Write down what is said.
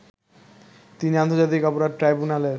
তিনি আন্তর্জাতিক অপরাধ ট্রাইব্যুনালের